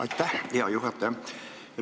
Aitäh, hea juhataja!